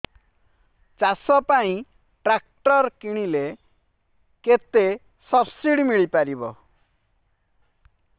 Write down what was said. ଚାଷ ପାଇଁ ଟ୍ରାକ୍ଟର କିଣିଲେ କେତେ ସବ୍ସିଡି ମିଳିପାରିବ